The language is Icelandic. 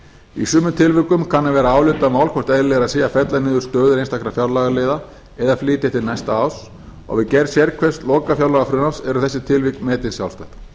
í sumum tilvikum kann að vera álitamál hvort eðlilegra sé að fella niður stöðu einstakra fjárlagaliða eða flytja til næsta árs og við gerð sérhvers lokafjárlagafrumvarps eru þessi tilvik metin sjálfstætt